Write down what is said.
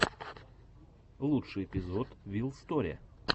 лучший эпизод вил сторе